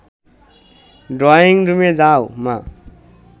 ড্রয়িংরুমে যাও, মা